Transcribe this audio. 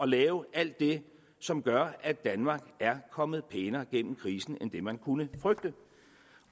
lave alt det som gør at danmark er kommet pænere igennem krisen end hvad man kunne frygte